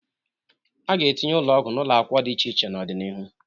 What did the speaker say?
A ga-atinye ụlọgwụ n'ụlọakwụkwọ dị iche iche n'ọdị n'ihu.